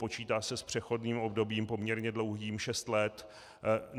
Počítá se s přechodným obdobím poměrně dlouhým - šest let.